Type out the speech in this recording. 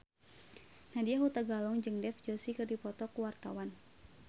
Nadya Hutagalung jeung Dev Joshi keur dipoto ku wartawan